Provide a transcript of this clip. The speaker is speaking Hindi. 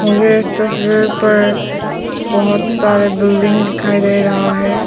मुझे इस तस्वीर पर बहोत सारे सा बिल्डिंग दिखाई दे रहा है।